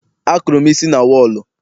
Akụrụ m isi na wọọlụ.